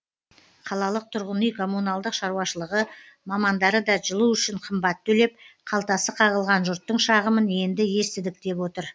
қалалық тұрғын үй коммуналдық шаруашылығы мамандары да жылу үшін қымбат төлеп қалтасы қағылған жұрттың шағымын енді естідік деп отыр